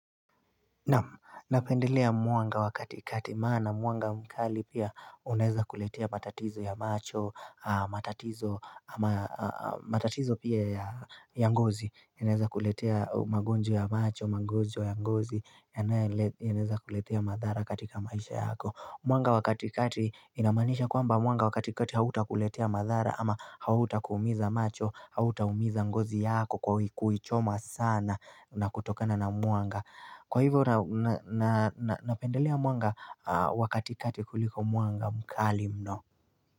Na pendelea mwanga wakati kati maana mwanga mkali pia unaeza kuletea matatizo ya macho, matatizo pia ya ya ngozi, inaeza kuletea magonjwa ya macho, magonjwa ya ngozi, yanayoel inaeza kuletea madhara katika maisha yako. Mwanga wakati kati inamanisha kwamba mwanga wakati kati hauta kuletea madhara ama hauta kuumiza macho, hauta umiza ngozi yako kwa hikuichoma sana na kutokana na mwanga. Kwa hivo nau na na napendelea mwanga wakati kati kuliko mwanga mkali mno.